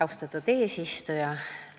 Austatud eesistuja!